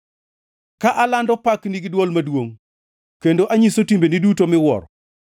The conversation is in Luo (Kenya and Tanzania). ka alando pakni gi dwol maduongʼ, kendo anyiso timbeni duto miwuoro.